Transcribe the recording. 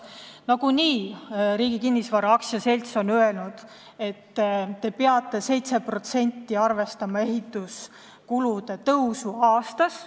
Nagunii on Riigi Kinnisvara AS öelnud, et peab arvestama 7%-lise ehituskulude tõusuga aastas.